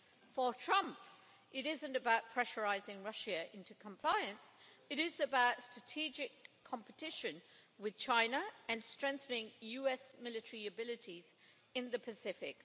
For Trump, it isn't about pressurising Russia into compliance, it is about strategic competition with China and strengthening US military capabilities in the Pacific.